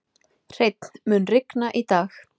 Hreinn, mun rigna í dag?